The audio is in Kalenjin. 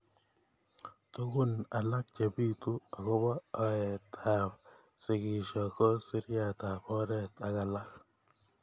Tukun alak chebitu akobo aet ab sikisho ko siriat ab oret ak alak.